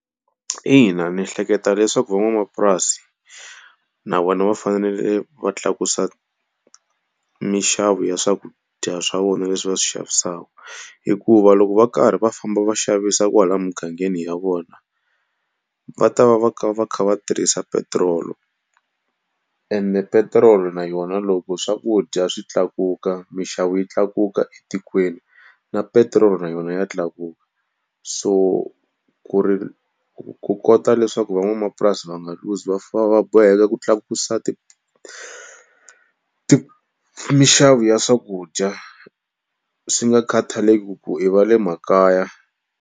Ina ndzi hleketa leswaku van'wamapurasi na vona va fanele va tlakusa minxavo ya swakudya swa vona leswi va swi xavisaka hikuva loko va karhi va famba va xavisa kwalaha emugangeni ya vona, va ta va va kha va kha va tirhisa petirolo ene petirolo na yona loko swakudya swi tlakuka, minxavo yi tlakuka etikweni na petirolo na yona ya tlakuka. So ku ri ku kota leswaku van'wamapurasi va nga luzi va va boheka ku tlakusa minxavo ya swakudya swi nga khathaleki ku i va le makaya.